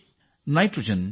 ಇದು ರೈತರಿಗೆ ಉಪಯುಕ್ತ